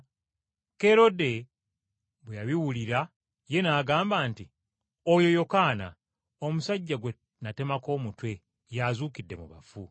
Kerode bwe yabiwulira ye n’agamba nti, “Oyo Yokaana, omusajja gwe natemako omutwe, y’azuukide mu bafu.”